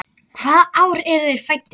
Hvaða ár eru þeir fæddir?